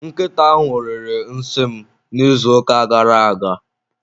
Nkịta ahụ riri nsị m n'izuụka gara aga.